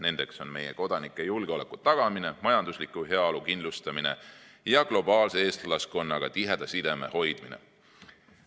Need on meie kodanike julgeoleku tagamine, majandusliku heaolu kindlustamine ja globaalse eestlaskonnaga tiheda sideme hoidmine.